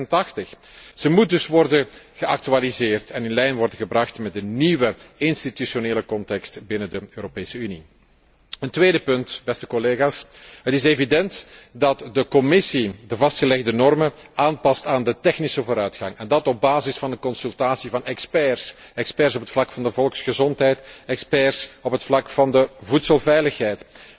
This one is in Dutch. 1986. Zij moet dus worden geactualiseerd en in lijn worden gebracht met de nieuwe institutionele context binnen de Europese Unie. Een tweede punt, beste collega's, het is evident dat de Commissie de vastgelegde normen aanpast aan de technische vooruitgang, en dat op basis van de consultatie van experts, experts op het vlak van de volksgezondheid, experts op het vlak van de voedselveiligheid.